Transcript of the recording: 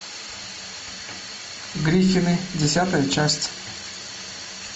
гриффины десятая часть